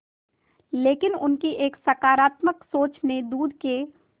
लेकिन उनकी एक सकरात्मक सोच ने दूध के